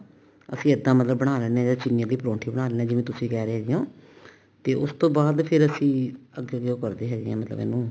ਅਸੀਂ ਇੱਦਾਂ ਮਤਲਬ ਬਣਾ ਲੈਂਦੇ ਹਾਂ ਜਾਂ ਚਿੰਨੀ ਦੇ ਪਰੋਂਠੇ ਬਣਾ ਲੈਂਦੇ ਹਾਂ ਜਿਵੇਂ ਤੁਸੀਂ ਕਿਹ ਰਹੇ ਹੈਗੇ ਹੋ ਤੇ ਉਸਤੋਂ ਬਾਅਦ ਫ਼ੇਰ ਅਸੀਂ ਅੱਗੇ ਦੀ ਉਹ ਕਰਦੇ ਹੁਣੇ ਆਂ ਮਤਲਬ ਇਹਨੂੰ